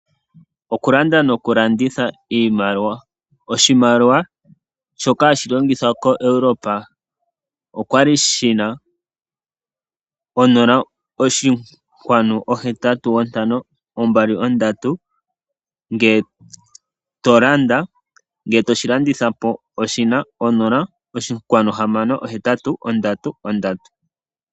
Okulanda nokulanditha iimaliwa, oshimaliwa shoka hashi longithwa koEurope okwali shina 0.8523 ngele to landa, ngele toshilanditha po oshina 0.6833.